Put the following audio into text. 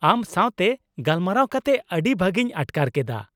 ᱟᱢ ᱥᱟᱶᱛᱮ ᱜᱟᱞᱢᱟᱨᱟᱣ ᱠᱟᱛᱮ ᱟᱹᱰᱤ ᱵᱷᱟᱹᱜᱤᱧ ᱟᱴᱠᱟᱨ ᱠᱮᱫᱟ ᱾